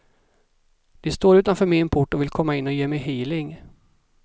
De står utanför min port och vill komma in och ge mig healing.